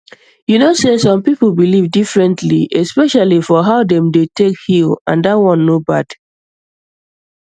you know say some people believe differently especially for how dem dey take heal and that one no bad